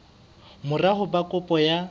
mora ho ba kopo ya